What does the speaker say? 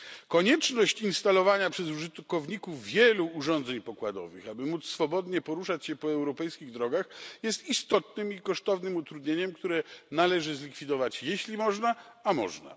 Konieczność instalowania przez użytkowników wielu urządzeń pokładowych, aby móc swobodnie poruszać się po europejskich drogach, jest istotnym i kosztownym utrudnieniem, które należy zlikwidować, jeśli można a można.